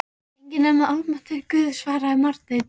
Enginn nema almáttugur Guð, svaraði Marteinn.